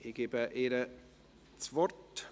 Ich gebe ihr das Wort.